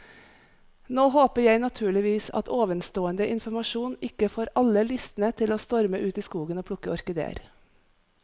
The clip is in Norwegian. Nå håper jeg naturligvis at ovenstående informasjon ikke får alle lystne til å storme ut i skogen og plukke orkideer.